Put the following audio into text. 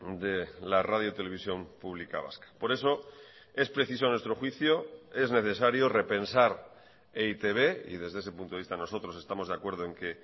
de la radio televisión pública vasca por eso es preciso a nuestro juicio es necesario repensar e i te be y desde ese punto de vista nosotros estamos de acuerdo en que